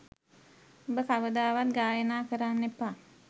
උඹ කවදාවත් ගායනා කරන්න එපා.